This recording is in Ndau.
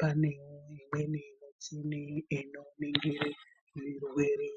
,panewo imweni michini inoringire zvirwere.